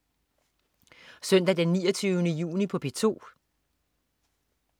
Søndag den 29. juni - P2: